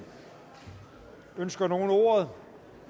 ønsker nogen ordet